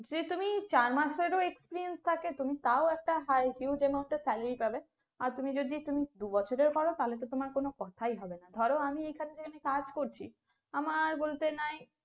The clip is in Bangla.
যে তুমি চার মাসেরও experience থাকে তুমি তাও একটা high cute amout salary পাবে, আর তুমি যদি তুমি দু বছরেরও কর তাহলে তো তোমার কোনো কথাই হবে না, ধরো আমি এখান থেকে যেখানে কাজ করছি আমার বলতে নাই,